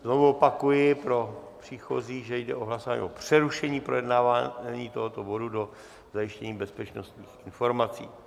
Znovu opakuji pro příchozí, že jde o hlasování o přerušení projednávání tohoto bodu do zajištění bezpečnostních informací.